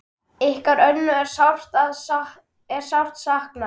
Ykkar Önnu er sárt saknað.